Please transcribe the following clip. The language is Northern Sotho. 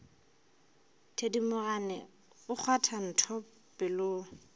thedimogane o kgwatha ntho pelong